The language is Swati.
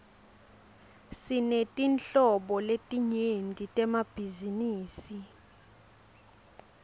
sinetinhlobo letinyenti temabhizinisi